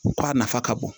Ko a nafa ka bon